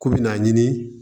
K'u bi n'a ɲini